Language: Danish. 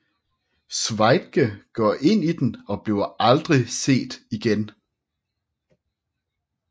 Sveigde går ind i den og bliver aldrig set igen